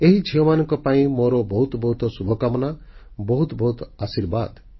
ଏହି ଝିଅମାନଙ୍କ ପାଇଁ ମୋର ବହୁତ ବହୁତ ଶୁଭ କାମନା ବହୁତ ବହୁତ ଆଶୀର୍ବାଦ